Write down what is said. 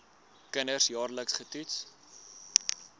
kinders jaarliks getoets